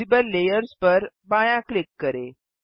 visible layers पर बायाँ click करें